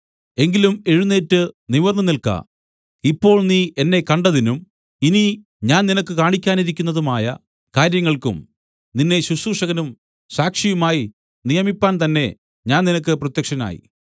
എങ്കിലും എഴുന്നേറ്റ് നിവിർന്നുനിൽക്ക ഇപ്പോൾ നീ എന്നെ കണ്ടതിനും ഇനി ഞാൻ നിനക്ക് കാണിക്കുവാനിരിക്കുന്നതായ കാര്യങ്ങൾക്കും നിന്നെ ശുശ്രൂഷകനും സാക്ഷിയുമായി നിയമിപ്പാൻ തന്നെ ഞാൻ നിനക്ക് പ്രത്യക്ഷനായി